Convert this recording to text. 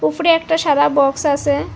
উপরে একটা সাদা বক্স আসে ।